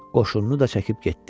Qoşununu da çəkib getdi.